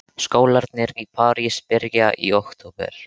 Skólarnir í París byrja í október.